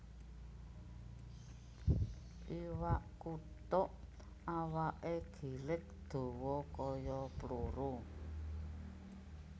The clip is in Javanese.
Iwak kutuk awaké gilig dawa kaya pluru